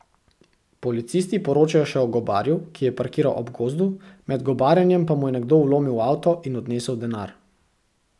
Policisti poročajo še o gobarju, ki je parkiral ob gozdu, med gobarjenjem pa mu je nekdo vlomil v avto in odnesel denar.